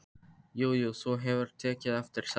Jú jú, þú hefur tekið eftir þessu.